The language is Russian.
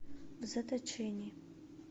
в заточении